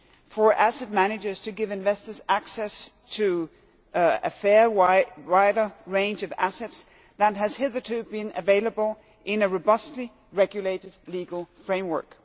for asset managers to give investors access to a far wider range of assets than has hitherto been available, in a robustly regulated legal framework.